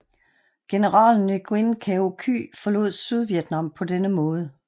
General Nguyen Cao Ky forlod Sydvietnam på denne måde